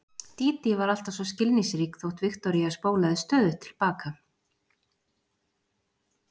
Dídí var alltaf svo skilningsrík þótt Viktoría spólaði stöðugt til baka.